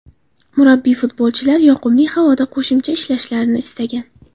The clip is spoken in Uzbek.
Murabbiy futbolchilar yoqimli havoda qo‘shimcha ishlashlarini istagan.